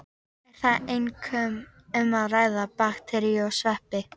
Er þar einkum um að ræða bakteríur og sveppi.